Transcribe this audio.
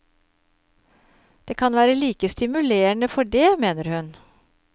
Det kan være like stimulerende for dét, mener hun.